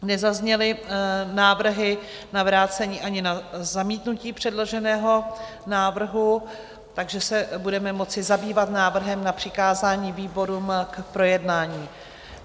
Nezazněly návrhy na vrácení ani na zamítnutí předloženého návrhu, takže se budeme moci zabývat návrhem na přikázání výborům k projednání.